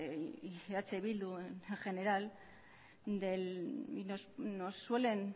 y eh bildu en general